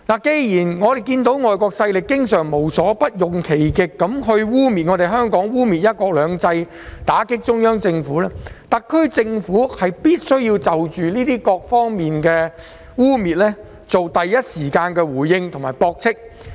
既然知道外國勢力經常無所不用其極，污衊香港和"一國兩制"及打擊中央政府，特區政府便須就種種污衊作出第一時間的回應及駁斥。